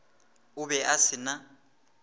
o be a se na